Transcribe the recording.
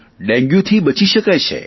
ડેન્ગ્યુથી બચી શકાય છે